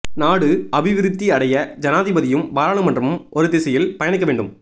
நாடு அபிவிருத்தி அடைய ஜனாதிபதியும் பாராளுமன்றமும் ஒரு திசையில் பயணிக்க வேண்டும்